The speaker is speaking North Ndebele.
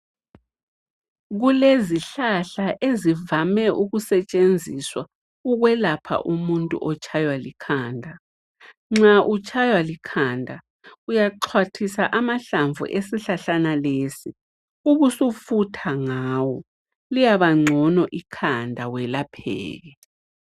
Kulezihlahla ezivame ukusetshenziswa ukwelapha umuntu otshaywa likhanda. Nxa utshaywa likhanda uyaxhwathisa amahlamvu esihlahlana lesi ubusufutha ngawo, liyabangcono ikhanda welapheke.